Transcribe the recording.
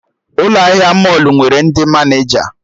Ụlọ ahịa mọlụ nwere ndị Maneja